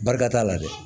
Barika t'a la dɛ